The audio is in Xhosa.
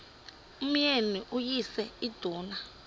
umyeni uyise iduna